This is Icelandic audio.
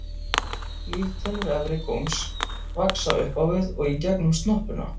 Vígtennur efri góms vaxa upp á við og í gegnum snoppuna.